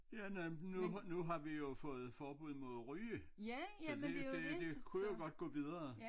Ja nej nu har nu har vi jo fået forbud imod ryge så det det det kunne jo godt gå videre